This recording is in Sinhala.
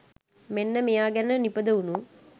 මෙන්න මෙයා ගැන නිපදවුනු